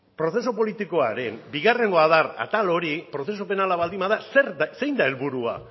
prozesu politikoaren bigarrengo adar atal hori prozesu penala baldin bada zein da helburua